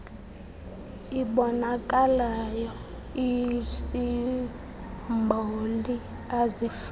iboonakalayo iisimboli azifani